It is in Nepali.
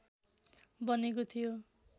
बनेको थियो